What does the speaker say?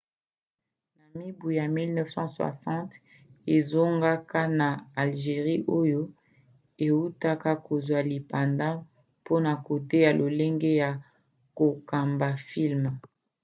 na mibu 1960 azongaka na algerie oyo eutaka kozwa lipanda mpona koteya lolenge ya kokamba filme